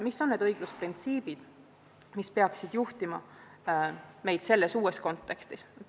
Mis on need õiglusprintsiibid, mis peaksid juhtima meid selles uues kontekstis?